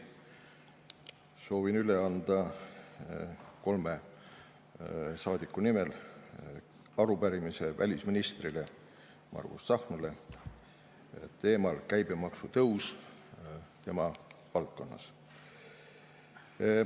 Soovin üle anda kolme saadiku nimel arupärimise välisminister Margus Tsahknale teemal käibemaksu tõus tema valdkonnas.